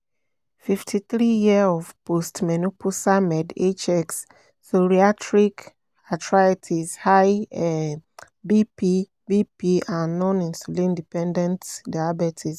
fifty three years of post-menopausal med H-X: psoriatric arthritis high um B-P B-P and non-insulin dependent diabetes